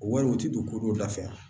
Wariw tɛ don ko dɔ la fɛ